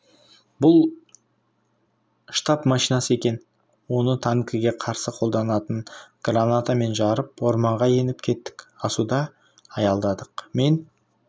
бұл штаб машинасы екен оны танкіге қарсы қолданатын гранатамен жарып орманға еніп кеттік асуда аялдадық мен